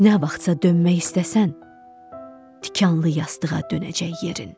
Nə vaxtsa dönmək istəsən, tikanlı yastığa dönəcək yerin.